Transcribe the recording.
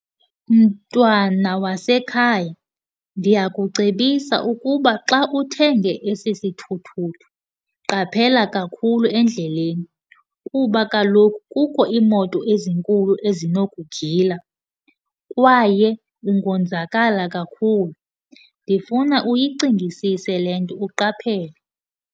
Mntwana wasekhaya, ndiyakucebisa ukba xa uthenge esi sithuthuthu qaphela kakhulu endleleni, kuba kaloku kukho iimoto ezinkulu ezinokugila kwaye ungonzakala kakhulu. Ndifuna uyicingisise le nto uqaphele.